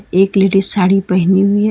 एक लेडिस साड़ी पहनी हुई है।